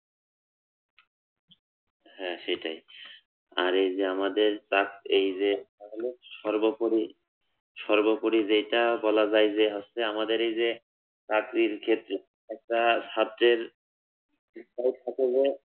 হ্যা সেইটাই আর এই যে আমাদের যাক এই যে সর্বোপরি সর্বোপরি যেইটা বলা যায় যে হচ্ছে আমাদের এই যে চাকরির ক্ষেত্রে একটা ছাত্রের